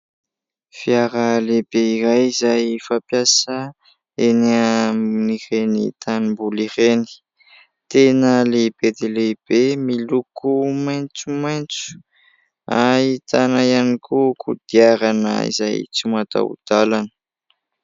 Fiara lehibe iray izay fampiasa eny amin'ny ireny tanim-boly ireny. Tena lehibe dia lehibe miloko maintso maintso ; ahitana ihany koa kodiarana izay tsy matao dalana.